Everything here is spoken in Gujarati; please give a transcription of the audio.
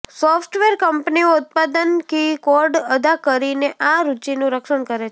સોફ્ટવેર કંપનીઓ ઉત્પાદન કી કોડ અદા કરીને આ રુચિનું રક્ષણ કરે છે